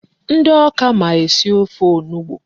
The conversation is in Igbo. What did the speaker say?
Ndị Awka ma esi ofe onugbu.